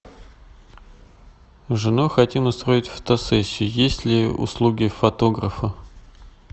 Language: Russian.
с женой хотим устроить фотосессию есть ли услуги фотографа